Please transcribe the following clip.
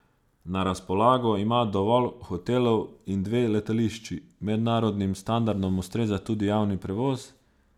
Na razpolago ima dovolj hotelov in dve letališči, mednarodnim standardom ustreza tudi javni prevoz.